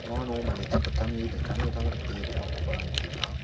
ano mande sakgittamni dingtang dingtang dake dongakoba nikenga.